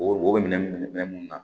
O o minɛn minɛ munnu na